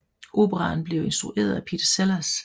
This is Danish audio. Operaen blev instrueret af Peter Sellars